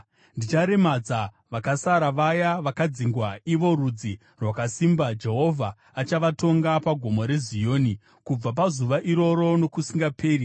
Ndicharemadza vakasara, vaya vakadzingwa, ivo rudzi rwakasimba. Jehovha achavatonga paGomo reZioni kubva pazuva iroro nokusingaperi.